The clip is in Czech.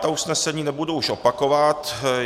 Ta usnesení už nebudu opakovat.